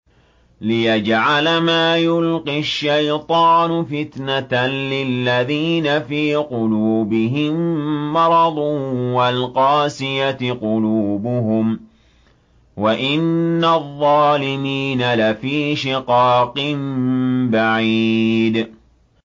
لِّيَجْعَلَ مَا يُلْقِي الشَّيْطَانُ فِتْنَةً لِّلَّذِينَ فِي قُلُوبِهِم مَّرَضٌ وَالْقَاسِيَةِ قُلُوبُهُمْ ۗ وَإِنَّ الظَّالِمِينَ لَفِي شِقَاقٍ بَعِيدٍ